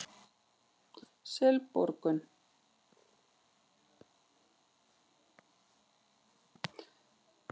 Selborgum